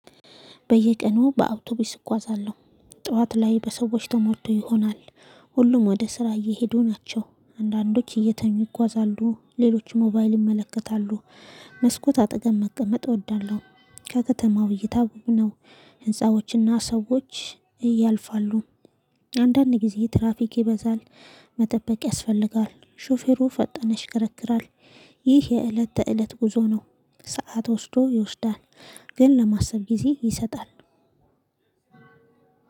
በየቀኑ በአውቶቡስ እጓዛለሁ ጠዋት ላይ በሰዎች ተሞቶ ይሆናል። ሁሉም ወደ ስራ እየሄዱ ናቸው አንዳንዶች እየተኙ ይጓዛሉ ሌሎች ሞባይል ይመለከታሉ። መስኮት አጠገብ መቀመጥ እወዳለሁ። ከከተማው እይታ ውብ ነው። ህንፃዎችና ሰዎች እያልፋሉ። አንዳንድ ጊዜ ትራፊክ ይበዛል። መጠበቅ ያስፈልጋል ሹፌሩ ፈጣን ይሽከረክራል። ይህ የእለት ተእለት ጉዞ ነው። ሰዓት ወስዶ ይወስዳል። ግን ለማሰብ ጊዜ ይሰጣል።